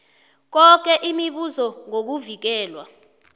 yoke imibuzo ngokuvikelwa